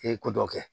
E ye ko dɔ kɛ